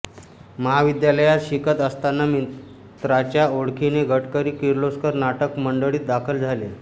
महाविद्यालयात शिकत असताना मित्राच्या ओळखीने गडकरी किर्लोस्कर नाटक मंडळीत दाखल झाले